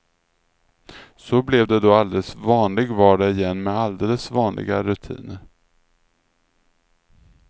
Så blev det då alldeles vanlig vardag igen med alldeles vanliga rutiner.